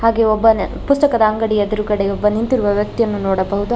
ಹಾಗೆ ಒಬ್ಬನ ಪುಸ್ತಕದ ಅಂಗಡಿಯ ಎದುರುಗಡೆ ಒಬ್ಬ ನಿಂತಿರುವ ವ್ಯಕ್ತಿ ಯನ್ನು ನೋಡಬಹುದು.